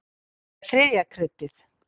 Það er þriðja kryddið.